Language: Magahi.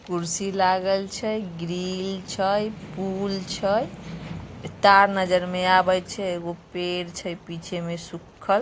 कुर्सी लागल छय ग्रिल छय पुल छय ए तार नजर में आवय छय एगो पेड़ छय पीछे में सुक्खल।